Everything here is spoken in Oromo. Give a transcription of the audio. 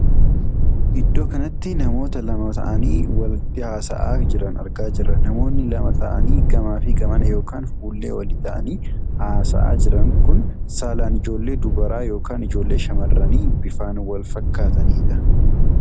Iddoo kanatti namoota lama taa'anii waliin haasaa jiran argaa jirra. namoonni lama taa'anii gamaa fi gamana ykn fuullee walii taa'anii haasaa jiran kun saalaan ijoollee dubaraa ykn ijoollee shamarranii bifan kan wal fakkaatanidha.